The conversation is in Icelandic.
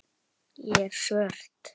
Ég er svört.